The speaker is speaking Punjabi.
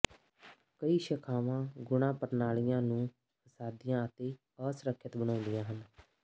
ਕਈ ਸ਼ਾਖਾਵਾਂ ਗੁਣਾ ਪ੍ਰਣਾਲੀ ਨੂੰ ਫਸਾਦੀਆਂ ਅਤੇ ਅਸੁਰੱਖਿਅਤ ਬਣਾਉਂਦੀਆਂ ਹਨ